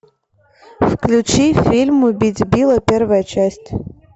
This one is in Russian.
включи фильм убить билла первая часть